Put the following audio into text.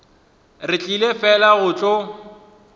re tlile fela go tlo